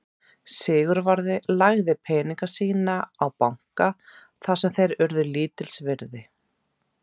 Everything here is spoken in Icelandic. Sigvarður lagði peninga sína á banka þar sem þeir urðu lítils virði.